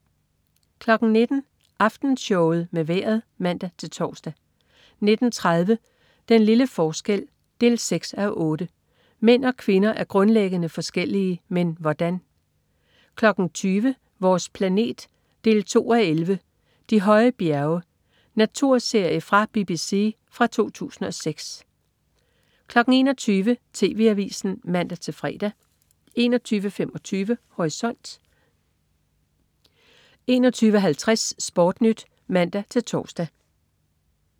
19.00 Aftenshowet med Vejret (man-tors) 19.30 Den lille forskel 6:8. Mænd og kvinder er grundlæggende forskellige. Men hvordan? 20.00 Vores planet 2:11. " De høje bjerge". Naturserie fra BBC fra 2006 21.00 TV Avisen (man-fre) 21.25 Horisont 21.50 SportNyt (man-tors)